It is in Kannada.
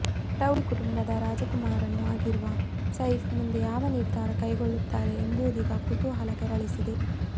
ಪಟೌಡಿ ಕುಟುಂಬದ ರಾಜಕುಮಾರನೂ ಆಗಿರುವ ಸೈಫ್ ಮುಂದೆ ಯಾವ ನಿರ್ಧಾರ ಕೈಗೊಳ್ಳುತ್ತಾರೆ ಎಂಬುದೀಗ ಕುತೂಹಲ ಕೆರಳಿಸಿದೆ